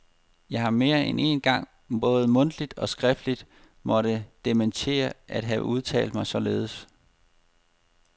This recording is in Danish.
Jeg har mere end én gang både mundtligt og skriftligt måtte dementere at have udtalt mig således.